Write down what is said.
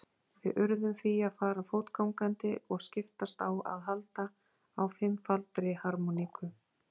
Við urðum því að fara fótgangandi og skiptast á að halda á fimmfaldri harmóníku.